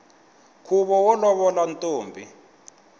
khuvo wo lovolo ntombi